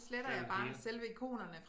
Det er jo det hele